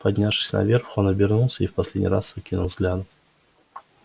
поднявшись наверх он обернулся и в последний раз окинул взглядом